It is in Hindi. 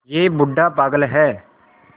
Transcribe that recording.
यह बूढ़ा पागल है